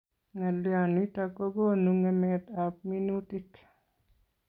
Ngalyo nitok ko konu ngemet ab minutik